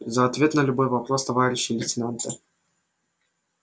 за ответ на любой вопрос товарищи лейтенанты